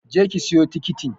Je ki siyo tikitin!